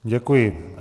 Děkuji.